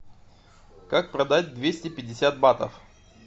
как продать двести пятьдесят батов